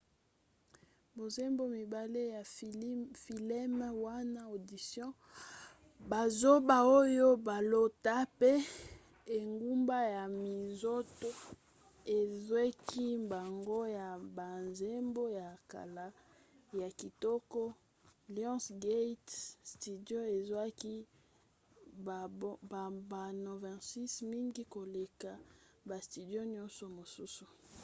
banzembo mibale ya fileme wana audition bazoba oyo balota pe engumba ya minzoto ezwaki mbango ya banzembo ya kala ya kitoko. lionsgate studio ezwaki bambano 26 — mingi koleka ba studio nyonso mosusu